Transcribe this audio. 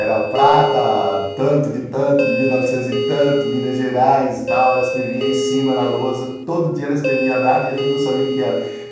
Era Prata, tanto de tanto, de mil e novecentos e tanto, Minas Gerais e tal, ela escrevia em cima na lousa, todo dia ela escrevia a data e a gente não sabia o que era.